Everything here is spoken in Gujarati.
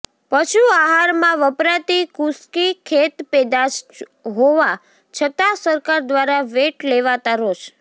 પશુ આહારમાં વપરાતી કુશકી ખેતપેદાશ હોવા છતાં સરકાર દ્વારા વેટ લેવાતાં રોષ